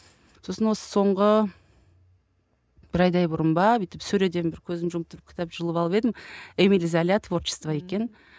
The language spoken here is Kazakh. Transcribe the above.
сосын осы соңғы бір айдай бұрын ба бүйтіп сөреден бір көзімді жұмып тұрып бір кітап жұлып алып едім эмиль золя творчество екен